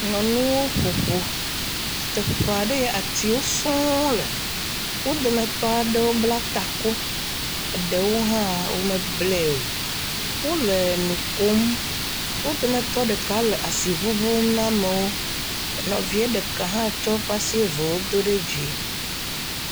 Nyɔnuwo ƒo ƒu ɖe teƒe aɖea atiwo sɔ̃ɔ le. Wo dometɔ aɖewo bla taku, ɖewo hã womeblae o. Wole nu kom. Wo dometɔ ɖeka le asi ŋuŋum ne ameawo. Nɔvia ɖeka hã tsɔ eƒe asi eveawo do ɖe dzi.